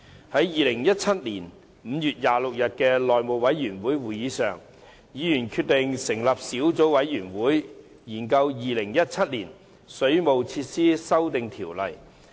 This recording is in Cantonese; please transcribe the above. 在2017年5月26日的內務委員會會議上，議員決定成立小組委員會，研究《2017年水務設施規例》。